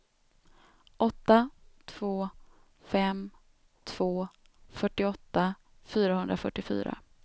åtta två fem två fyrtioåtta fyrahundrafyrtiofyra